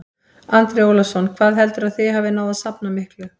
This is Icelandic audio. Andri Ólafsson: Hvað heldurðu að þið hafið náð að safna miklu?